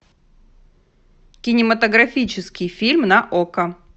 кинематографический фильм на окко